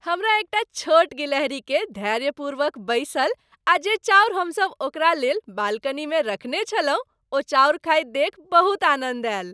हमरा एकटा छोट गिलहरीकेँ धैर्यपूर्वक बैसल आ जे चाउर हमसभ ओकरा लेल बालकनीमे रखने छलहुँ ओ चाउर खाइत देखि बहुत आनन्द आयल।